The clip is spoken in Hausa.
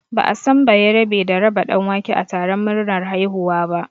Ba'a san bayerabe da raba ɗanwake a taron murnar haihuwa ba